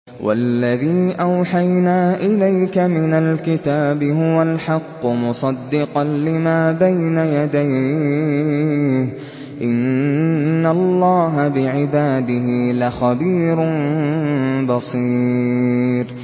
وَالَّذِي أَوْحَيْنَا إِلَيْكَ مِنَ الْكِتَابِ هُوَ الْحَقُّ مُصَدِّقًا لِّمَا بَيْنَ يَدَيْهِ ۗ إِنَّ اللَّهَ بِعِبَادِهِ لَخَبِيرٌ بَصِيرٌ